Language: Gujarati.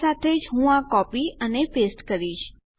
આ સાથે જ હું આ કોપી અને પેસ્ટ કરીશ